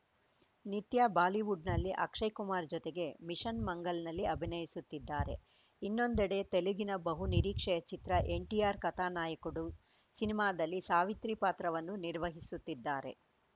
ನಿತ್ಯಾ ಬಾಲಿವುಡ್‌ನಲ್ಲಿ ಅಕ್ಷಯ ಕುಮಾರ್‌ ಜೊತೆಗೆ ಮಿಷನ್‌ ಮಂಗಲ್‌ನಲ್ಲಿ ಅಭಿನಯಿಸುತ್ತಿದ್ದಾರೆ ಇನ್ನೊಂದೆಡೆ ತೆಲುಗಿನ ಬಹುನಿರೀಕ್ಷೆಯ ಚಿತ್ರ ಎನ್‌ಟಿಆರ್‌ ಕಥಾ ನಾಯಕುಡು ಸಿನಿಮಾದಲ್ಲಿ ಸಾವಿತ್ರಿ ಪಾತ್ರವನ್ನೂ ನಿರ್ವಹಿಸುತ್ತಿದ್ದಾರೆ